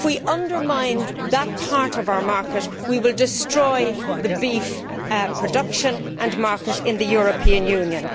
If we undermine that part of our market, we will destroy beef production and the market in the European Union.